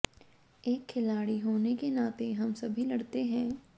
एक खिलाड़ी होने के नाते हम सभी लड़ते हैं